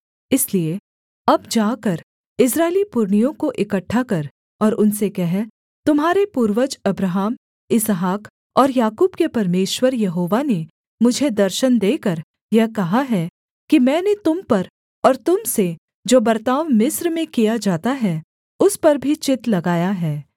इसलिए अब जाकर इस्राएली पुरनियों को इकट्ठा कर और उनसे कह तुम्हारे पूर्वज अब्राहम इसहाक और याकूब के परमेश्वर यहोवा ने मुझे दर्शन देकर यह कहा है कि मैंने तुम पर और तुम से जो बर्ताव मिस्र में किया जाता है उस पर भी चित्त लगाया है